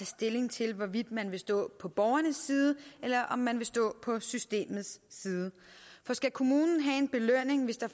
stilling til hvorvidt man vil stå på borgernes side eller om man vil stå på systemets side skal kommunen have en belønning hvis der